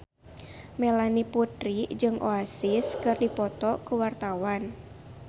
Melanie Putri jeung Oasis keur dipoto ku wartawan